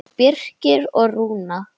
Birgir og Rúna.